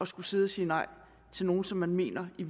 skulle sidde og sige nej til nogle som man mener i